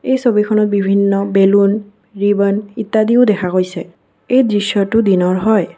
এই ছবিখনত বিভিন্ন বেলুন ৰিবন ইত্যাদিও দেখা গৈছে এই দৃশ্যটো দিনৰ হয়।